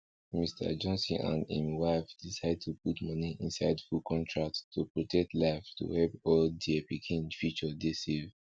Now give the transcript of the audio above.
mister johnson and im wife decide to put moni inside full contract to protect life to help all dere pikin future dey safe